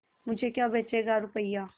मुझे क्या बेचेगा रुपय्या